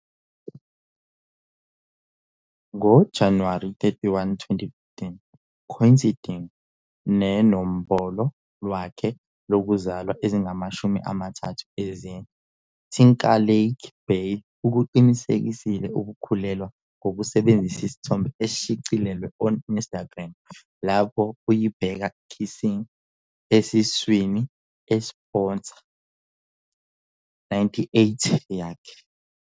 ngo-January 31, 2015, coinciding nenombolo lwakhe lokuzalwa ezingamashumi amathathu ezine, Timberlake Biel ukuqinisekisile ukukhulelwa ngokusebenzisa isithombe eshicilelwe on Instagram lapho uyibheka kissing esesiswini esposa.98 yakhe